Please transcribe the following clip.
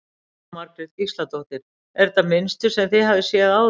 Jóhanna Margrét Gísladóttir: Er þetta mynstur sem þið hafið séð áður?